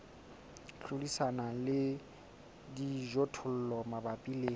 hlodisana le dijothollo mabapi le